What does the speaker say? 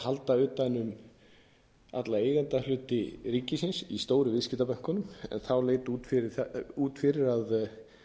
halda utan um alla eigendahluti ríkisins í stóru viðskiptabönkunum en þá leit út fyrir að